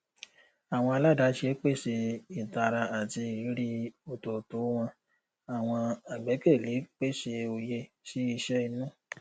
àwọn aládàáṣe pèsè ìtara àti ìrírí òtòtò wọn àwọn àgbẹkẹlé pèsè òye sí iṣẹ inú